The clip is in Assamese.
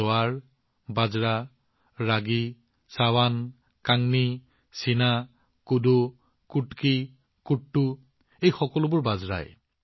জোৱাৰ বাজৰা ৰাগি চাৱান কাংনি চাইনা কোডো কুটকি কুট্টু এই সকলোবোৰ বাজৰা